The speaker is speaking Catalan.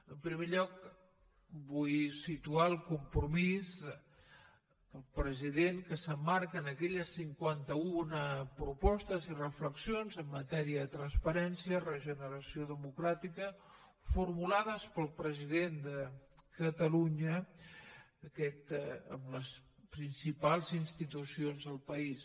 en primer lloc vull situar el compromís del president que s’emmarca en aquelles cinquanta una propostes i reflexions en matèria de transparència i regeneració democràtica formulades pel president de catalunya amb les principals institucions del país